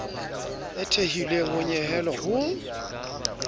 e thehilweng ho nyehelo ho